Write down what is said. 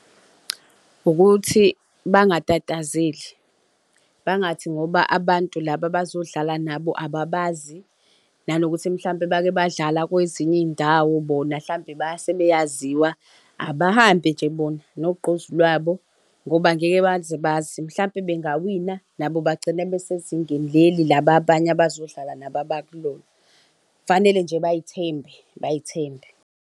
Ukuthi bangatatazeli, bangathi ngoba abantu laba abazodlala nabo ababazi, nanokuthi mhlawumpe bake badlala kwezinye iy'ndawo bona mhlampe sebeyaziwa, abahambe nje bona nogqozu lwabo ngoba ngeke baze bazi, mhlawumpe bengawina nabo bagcine besezingeni leli laba abanye abazodlala nabo abakulona. Kufanele nje bay'thembe bay'thembe.